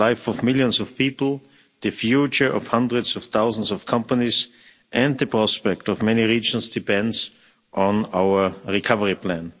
The lives of millions of people, the future of hundreds of thousands of companies and the prospects of many regions depend on our recovery plan.